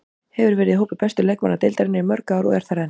Hefur verið í hópi bestu leikmanna deildarinnar í mörg ár og er þar enn.